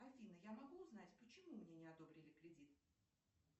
афина я могу узнать почему мне не одобрили кредит